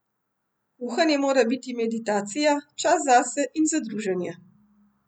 Kuhanje mora biti meditacija, čas zase in za druženje.